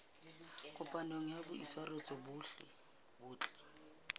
kopanelo ya boitshwaro bo botle